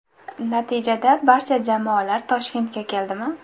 Natijada barcha jamoalar Toshkentga keldi mi ?